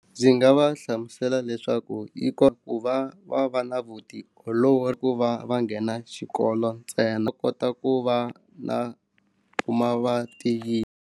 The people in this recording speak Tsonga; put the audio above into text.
Ndzi nga va hlamusela leswaku yi kota ku va va va na vutiolori ku va va nghena xikolo ntsena kota ku va na kuma vatiyile.